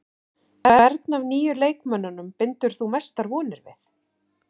Hvern af nýju leikmönnunum bindur þú mestar vonir við?